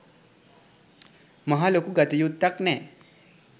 මහා ලොකු ගතයුත්කන් නෑ.